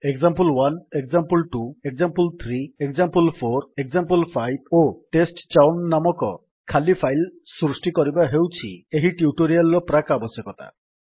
example one example two example three example four example five ଓ ଟେଷ୍ଟଚାଉନ୍ ନାମକ ଖାଲି ଫାଇଲ୍ ସୃଷ୍ଟି କରିବା ହେଉଛି ଏହି ଟ୍ୟୁଟୋରିଆଲ୍ ର ପ୍ରାକ୍ ଆବଶ୍ୟକତା